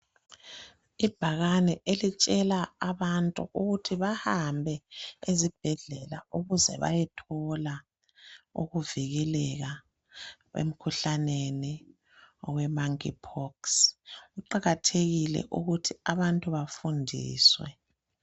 Ibhakane elitshengisa ukuthi abantu bahambe ezibhedlela ukuze bayethola ukuvikeleka emikhuhlaneni owe manki phokisi kuqakathekile ukuthi abantu bafundiswe.